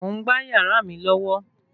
Mò ń gbá yàrá mi lọ́wọ́